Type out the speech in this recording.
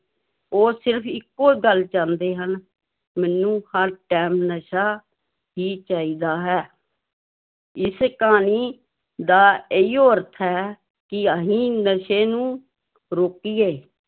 ਉਹ ਸਿਰਫ਼ ਇੱਕੋ ਗੱਲ ਚਾਹੁੰਦੇ ਹਨ ਮੈਨੂੰ ਹਰ time ਨਸ਼ਾ ਹੀ ਚਾਹੀਦਾ ਹੈ ਇਸ ਕਹਾਣੀ ਦਾ ਇਹੀਓ ਅਰਥ ਹੈ ਕਿ ਅਸੀਂ ਨਸ਼ੇ ਨੂੰ ਰੋਕੀਏ